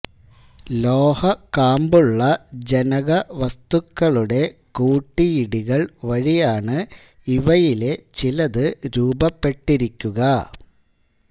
ലോഹ കാമ്പുള്ള ജനകവസ്തുക്കളുടെ കൂട്ടിയിടികൾ വഴിയാണ് ഇവയിലെ ചിലത് രൂപപ്പെട്ടിരിക്കുക